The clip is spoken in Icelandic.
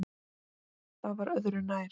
Það var öðru nær.